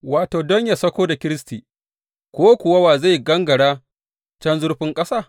wato, don yă sauko da Kiristi, ko kuwa Wa zai gangara can zurfin ƙasa?’